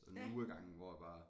Sådan en uge af gangen hvor jeg bare